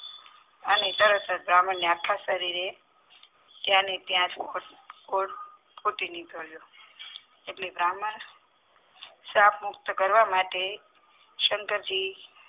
અને તરત જ બ્રાહ્મણને આખા શરીરે ત્યાં ને ત્યાં ફૂટી નીકળ્યો એટલે બ્રાહ્મણ શ્રાપ મુક્ત કરવા માટે શંકરજી